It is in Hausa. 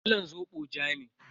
Kalan zobo ja ne.